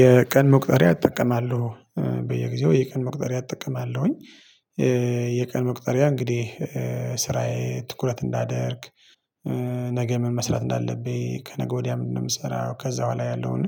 የቀን መቁጠሪያ እጠቀማለሁ። በየጊዜው የቀን መቁጠሪያ እጠቀማለሁኝ። የቀን መቁጠሪያ እንግዲህ ስራዬ ትኩረት እንዳደርግ። ነገ ምን መስራት እንዳለብኝ ከነገ ወዲያ ምንድነው የምሰራው። ከዛ በኋላ ያለውን